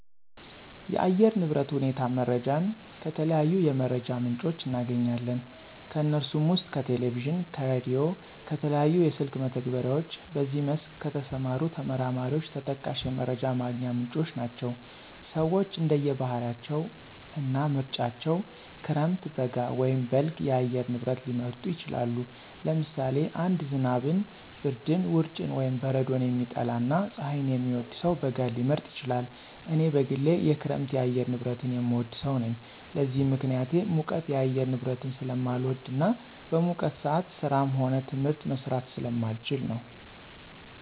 የአየር ንብረት ሁኔታ መረጃን ከተለያዩ የመረጃ ምንጮች እናገኛለን። ከነሱም ውስጥ ከቴሌቪዥን፣ ከራዲዮ፣ ከተለያዩ የስልክ መተግበሪያዎች በዚህ መስክ ከተሰማሩ ተመራማሪዎች ተጠቃሽ የመረጃ ማግኛ ምንጮች ናቸው። ሰወች እንደየ ባህሪያቸው እና ምርጫቸው ክረምት፣ በጋ ወይም በልግ የአየር ንብረት ሊመርጡ ይችላሉ። ለምሳሌ አንድ ዝናብን፣ ብርድን፣ ውርጭን ወይም በረዶን የሚጠላ እና ፀሀይን የሚወድ ሰው በጋን ሊመርጥ ይችላል። እኔ በግሌ የክረምት የአየር ንብረትን የምወድ ሰው ነኝ። ለዚህም ምክንያቴ ሙቀት የአየር ንብረትን ስለማልወድ እና በሙቀት ሰአት ስራም ሆነ ትምህርት መስራት ስለማልችል ነው።